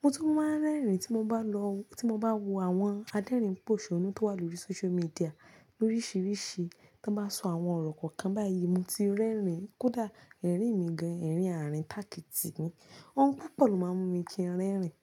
Mo tun máa ń rẹ́rìn tí mo bá lọ, tí mo bá wo àwọn adérìnpòṣonnú tó wà lórí social media loríṣìíríṣìí tan bá sọ àwọn ọ̀rọ̀ kàn báyìí mo ti rẹ́rìn, kódà ẹ́rìn mi gan, ẹ̀rín àárín tàkìtì ni. Òun púpọ̀ ló máa ń mú mi kí n rẹ́rìn.